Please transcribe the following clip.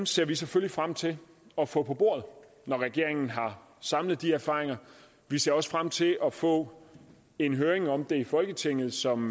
ser vi selvfølgelig frem til at få på bordet når regeringen har samlet de erfaringer vi ser også frem til at få en høring om det i folketinget som